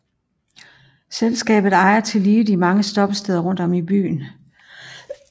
Selskabet ejer tillige de mange stoppesteder rundt om i byen